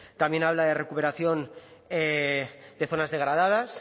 también habla de recuperación de zonas degradadas